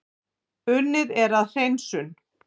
Unnið er að hreinsun